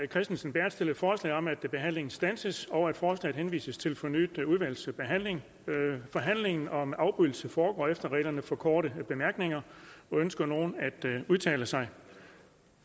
kristensen berth stillet forslag om at behandlingen standses og at forslaget henvises til fornyet udvalgsbehandling forhandlingen om afbrydelse foregår efter reglerne for korte bemærkninger ønsker nogen at udtale sig